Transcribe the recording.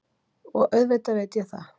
Og auðvitað veit ég það.